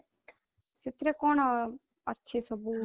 ସେଥିରେ କଣ ଅଛି ସବୁ?